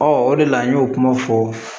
o de la an y'o kuma fɔ